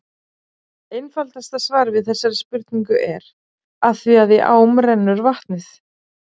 Einfaldasta svarið við þessari spurningu er: Af því að í ám rennur vatnið!